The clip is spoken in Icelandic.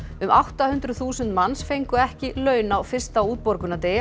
um átta hundruð þúsund manns fengu ekki laun á fyrsta